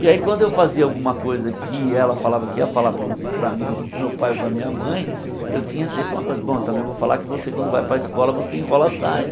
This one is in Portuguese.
E aí, quando eu fazia alguma coisa que ela falava que ia falar para mim ou para o meu pai ou parava minha mãe, eu tinha sempre uma coisa... Bom, também vou falar que você, quando vai para escola, você enrola a saia.